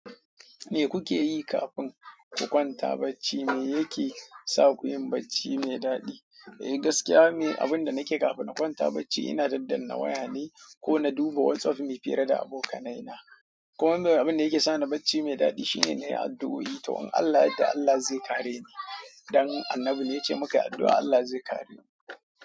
Me kuke yi kafin ku kwanta bacci? Me yake sa kuyin bacci mai daɗi? Eh, gaskiya ni, abin da nake yi kafin na kwanta bacci ina daddanna waya ne ko na duba WhatsApp muyi fira da abokanai na. Kuma abin da yake sani bacci mai daɗi shine na yi addu'o'i to in Allah yarda Allah zai kare ni. Dan Annabi ne ya ce in muka yi addu'a Allah zai kare mu.